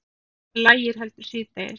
Lægir heldur síðdegis